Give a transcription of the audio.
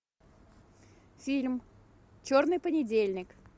фильм черный понедельник